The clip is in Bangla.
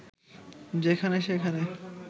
যেখানে সেখানে